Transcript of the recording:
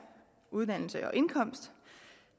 uddannelse og indkomst